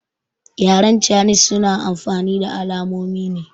Yaren canis suna amfani da alamonine